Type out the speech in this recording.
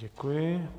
Děkuji.